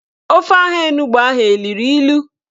Ofe ahụ onugbo ahụ eluru ilu?